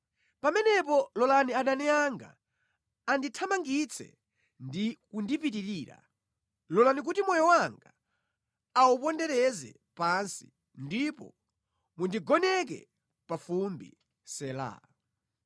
pamenepo lolani adani anga andithamangitse ndi kundipitirira, lolani kuti moyo wanga aupondereze pansi ndipo mundigoneke pa fumbi. Sela